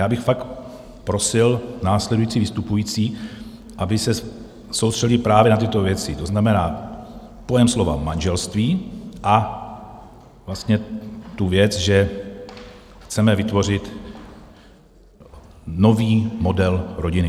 Já bych fakt prosil následující vystupující, aby se soustředili právě na tyto věci, To znamená pojem slova manželství a vlastně tu věc, že chceme vytvořit nový model rodiny.